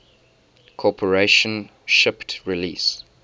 corporation shipped release